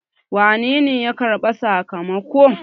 wanene ya karɓi sakamakon?